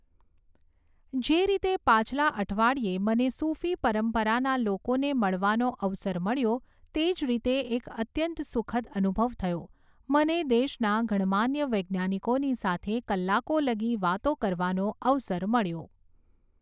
જે રીતે પાછલા અઠવાડિયે મને સૂફી પરંપરાના લોકોને મળવાનો અવસર મળ્યો તે જ રીતે એક અત્યંત સુખદ અનુભવ થયો, મને દેશના ગણમાન્ય વૈજ્ઞાનિકોની સાથે કલાકો લગી વાતો કરવાનો અવસર મળ્યો.